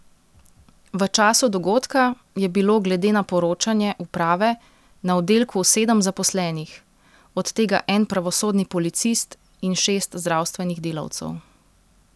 V času dogodka je bilo glede na poročanje uprave na oddelku sedem zaposlenih, od tega en pravosodni policist in šest zdravstvenih delavcev.